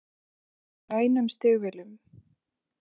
Inga var oft í grænum stígvélum.